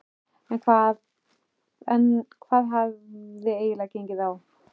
En hvað hafði eiginlega gengið á?